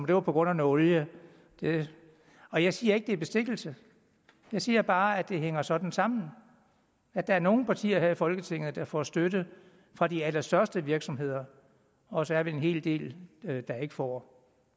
det var på grund af noget olie og jeg siger ikke det er bestikkelse jeg siger bare at det hænger sådan sammen at der er nogle partier her i folketinget der får støtte fra de allerstørste virksomheder og så er vi en hel del der ikke får